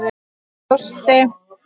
Með þjósti.